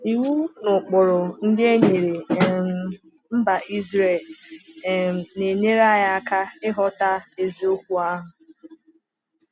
Iwu na ụkpụrụ ndị e nyere um mba Israel um na-enyere anyị aka ịghọta eziokwu ahụ.